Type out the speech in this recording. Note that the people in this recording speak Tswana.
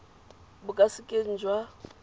bo ka se keng jwa